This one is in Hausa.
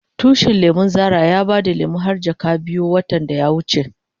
Tushin lemun Zara ya bada lemu har jaka biyu watan da ya wuce.